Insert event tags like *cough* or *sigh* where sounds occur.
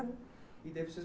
E daí *unintelligible*